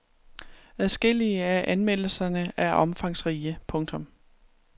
Adskillige af anmeldelserne er omfangsrige. punktum